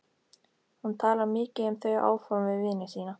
Hún talar mikið um þau áform við vini sína í